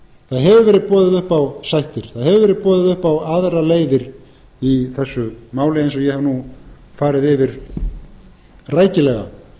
það hefur verið boðið upp á sættir það hefur verið boðið upp á aðrar leiðir í þessu máli eins og ég hef nú farið yfir rækilega